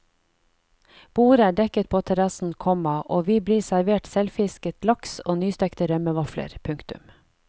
Bordet er dekket på terrassen, komma og vi blir servert selvfisket laks og nystekte rømmevafler. punktum